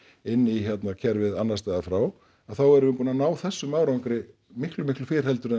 inn í kerfið annars staðar frá þá erum við búin að ná þessum árangri miklu miklu fyrr heldur en